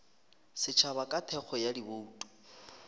setšhaba ka thekgo ya dibouto